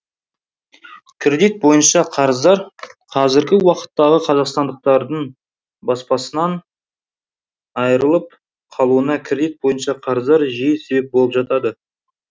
кредит бойынша қарыздар қазіргі уақыттағы қазақстандықтардың баспасынан айырылып қалуына кредит бойынша қарыздар жиі себеп болып жатады